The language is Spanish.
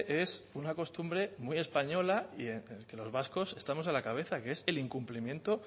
es una costumbre muy española y que los vascos estamos a la cabeza que es el incumplimiento